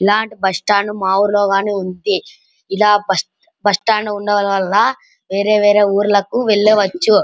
ఈలాంటి bus stand మా ఊర్లో గని ఉంటె ఇలా బస్సు స్టాండ్ ఉండడం వళ్ళ వేరే వేరే ఊర్లు వెళ్ళవచ్చు.